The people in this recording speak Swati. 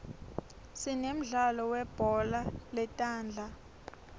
sinemdlalo welibhola letandza